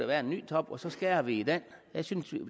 der en ny top og så skærer vi i den jeg synes